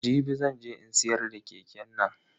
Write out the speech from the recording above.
Jibi zan je in siyar da keke nan.